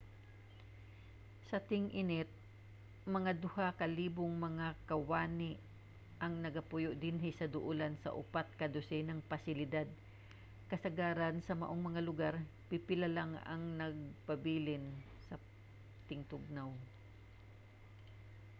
sa ting-init mga duha ka libong mga kawani ang nagapuyo dinhi sa duolan sa upat ka dosenang pasilidad kasagaran sa maong mga lugar; pipila ang nagapabilin sa tingtugnaw